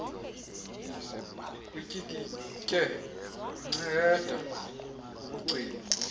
utyikitye inceadi ekugcinwa